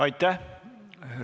Aitäh!